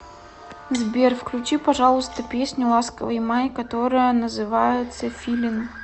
сбер включи пожалуйста песню ласковый май которая называется филин